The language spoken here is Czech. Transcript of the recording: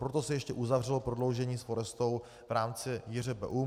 Proto se ještě uzavřelo prodloužení s Forestou v rámci JŘBU.